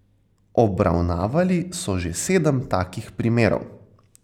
Obravnavali so že sedem takih primerov.